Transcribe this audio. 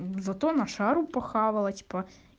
зато на шару похавала типа